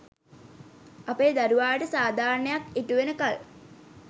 අපේ දරුවාට සාධාරණයක් ඉටු වෙනකල්